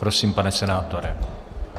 Prosím, pane senátore.